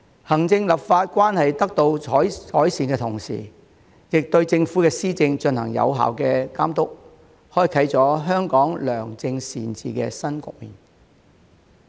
行政立法關係得到改善的同時，亦對政府施政進行有效的監督，開啟了香港良政善治的新局面。